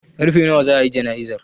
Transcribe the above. Karfe nawa za a yi jana'izar?